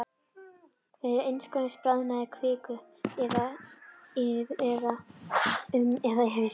Þegar innskot bráðinnar kviku, um eða yfir